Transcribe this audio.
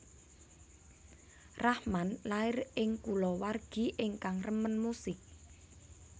Rahman lair ing kulawargi ingkang remen musik